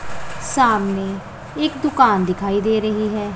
सामने एक दुकान दिखाई दे रही है।